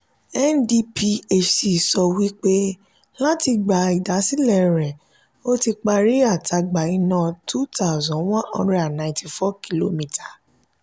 ndphc sọ wí pé láti ìgba ìdásílẹ̀ rẹ̀ ó ti parí àtagbà iná two thousand one hundred and ninety four kilometer